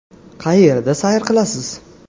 Qayerda sayr qilasiz?